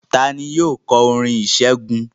Ta ni yóò kọ orin ìṣẹ́gun?